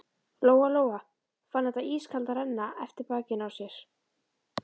Lóa Lóa fann þetta ískalda renna eftir bakinu á sér.